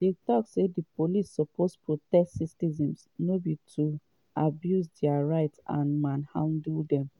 dey tok say di police suppose protect citizens no be to abuse dia rights and manhandle dem.